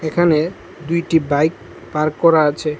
এখানে দুইটি bike park করা আছে।